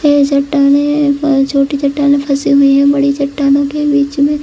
ए जो टंगे है वह छोटी चट्टान में फंसे हुई है बड़ी चट्टानों के बीच में --